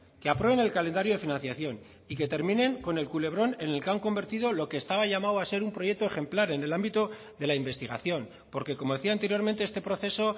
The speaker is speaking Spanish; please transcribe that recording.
que aprueben el calendario de financiación y que terminen con el culebrón en el que han convertido lo que estaba llamado a ser un proyecto ejemplar en el ámbito de la investigación porque como decía anteriormente este proceso